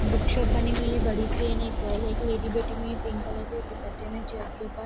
book shop बनी हुई है बड़ी सी एक लैडी बैठी हुई है पिंक कलर के दुपट्टे मे चेयर --